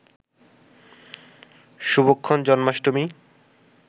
শুভক্ষণ, Janmashtami